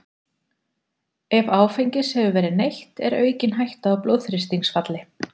Ef áfengis hefur verið neytt er aukin hætta á blóðþrýstingsfalli.